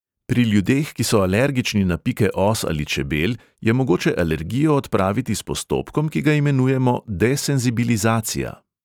Pri ljudeh, ki so alergični na pike os ali čebel, je mogoče alergijo odpraviti s postopkom, ki ga imenujemo desenzibilizacija.